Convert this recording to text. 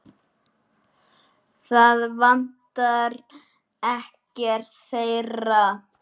Það vantar ekkert þeirra.